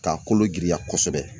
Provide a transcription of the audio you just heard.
K'a kolo giriya kosɛbɛ